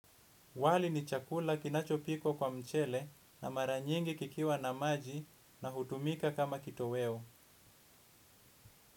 Wali ni chakula kinacho pikwa kwa mchele na maranyingi kikiwa na maji na hutumika kama kitoweo.